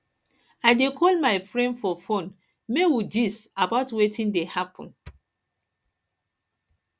i dey call my friend for fone make we gist about wetin dey happen